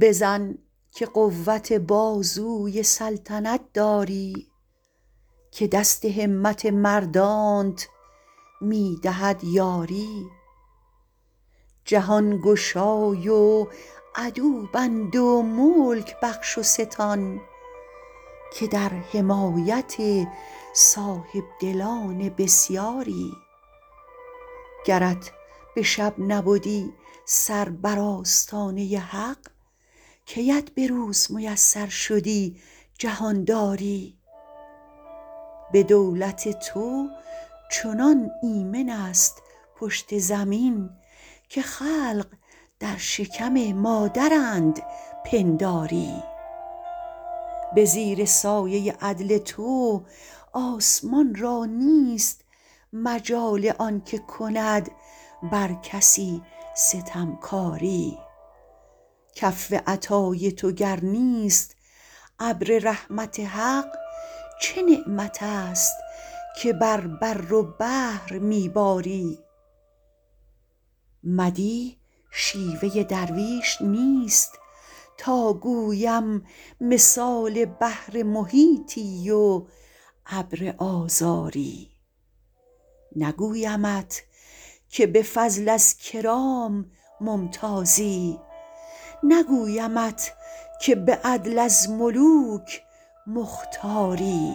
بزن که قوت بازوی سلطنت داری که دست همت مردانت می دهد یاری جهان گشای و عدو بند و ملک بخش و ستان که در حمایت صاحبدلان بسیاری گرت به شب نبدی سر بر آستانه حق کیت به روز میسر شدی جهانداری به دولت تو چنان ایمنست پشت زمین که خلق در شکم مادرند پنداری به زیر سایه عدل تو آسمان را نیست مجال آنکه کند بر کسی ستمکاری کف عطای تو گر نیست ابر رحمت حق چه نعمت است که بر بر و بحر می باری مدیح شیوه درویش نیست تا گویم مثال بحر محیطی و ابر آذاری نگویمت که به فضل از کرام ممتازی نگویمت که به عدل از ملوک مختاری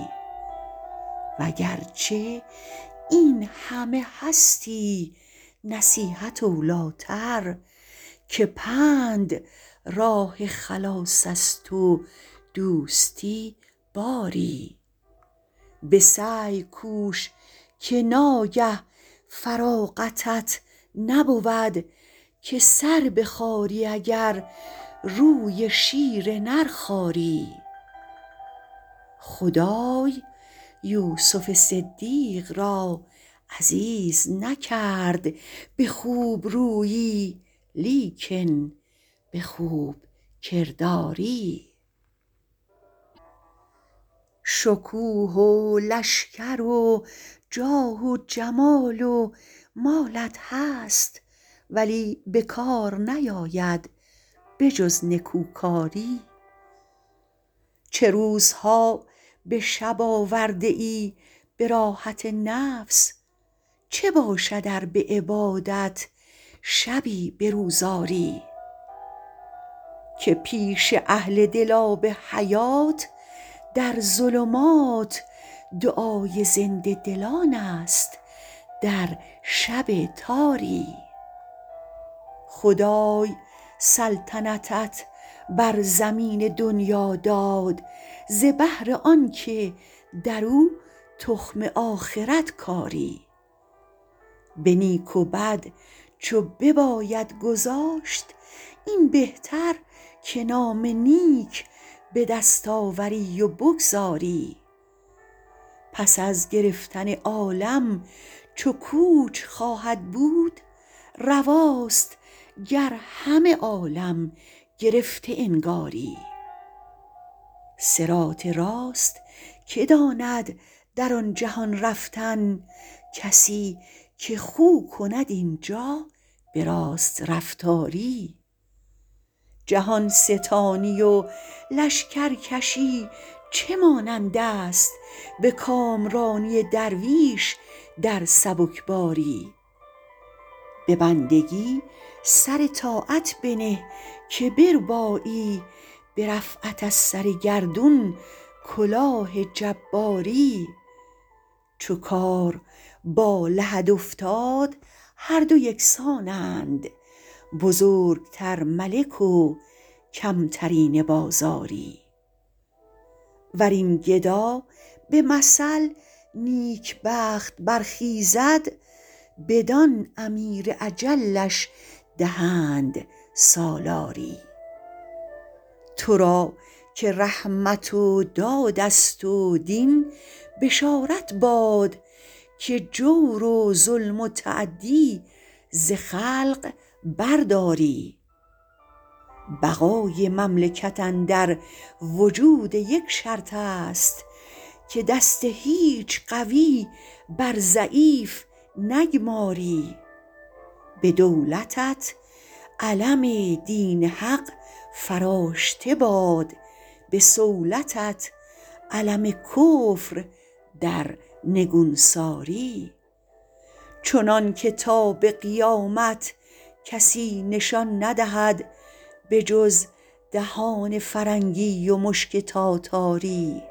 وگرچه این همه هستی نصیحت اولیتر که پند راه خلاص است و دوستی باری به سعی کوش که ناگه فراغتت نبود که سر بخاری اگر روی شیر نر خاری خدای یوسف صدیق را عزیز نکرد به خوب رویی لیکن به خوب کرداری شکوه و لشکر و جاه و جمال و مالت هست ولی به کار نیاید به جز نکوکاری چه روزها به شب آورده ای به راحت نفس چه باشد ار به عبادت شبی به روز آری که پیش اهل دل آب حیات در ظلمات دعای زنده دلانست در شب تاری خدای سلطنتت بر زمین دنیا داد ز بهر آنکه درو تخم آخرت کاری به نیک و بد چو بباید گذاشت این بهتر که نام نیک به دست آوری و بگذاری پس از گرفتن عالم چو کوچ خواهد بود رواست گر همه عالم گرفته انگاری صراط راست که داند در آن جهان رفتن کسی که خو کند اینجا به راست رفتاری جهان ستانی و لشکرکشی چه مانندست به کامرانی درویش در سبکباری به بندگی سر طاعت بنه که بربایی به رفعت از سر گردون کلاه جباری چو کار با لحد افتاد هر دو یکسانند بزرگتر ملک و کمترینه بازاری ورین گدا به مثل نیکبخت برخیزد بدان امیر اجلش دهند سالاری تو را که رحمت و دادست و دین بشارت باد که جور و ظلم و تعدی ز خلق برداری بقای مملکت اندر وجود یک شرطست که دست هیچ قوی بر ضعیف نگماری به دولتت علم دین حق فراشته باد به صولتت علم کفر در نگونساری چنانکه تا به قیامت کسی نشان ندهد بجز دهانه فرنگی و مشک تاتاری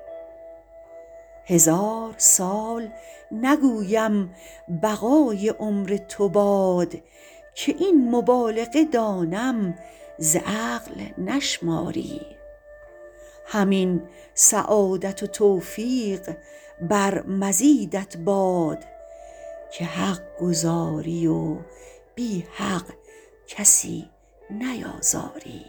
هزار سال نگویم بقای عمر تو باد که این مبالغه دانم ز عقل نشماری همین سعادت و توفیق بر مزیدت باد که حق گزاری و بی حق کسی نیازاری